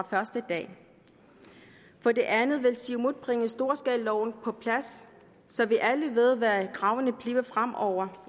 første dag for det andet vil siumut bringe storskalaloven på plads så vi alle ved hvad kravene bliver fremover